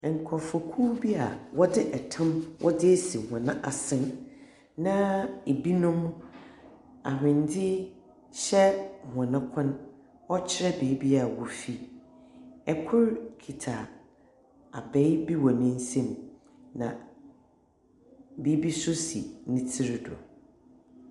Ɛnkorɔfokuw bi a wɔdze ɛtam wɔdze esi wɔm asen, na ebinom ahwendze hyɛ wɔn kɔn, ɔkyerɛ baabi a wofi. Ɛkor kita abae bi wɔ nensam na biribi so si netsir do.